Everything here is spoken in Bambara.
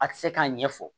A tɛ se k'a ɲɛfɔ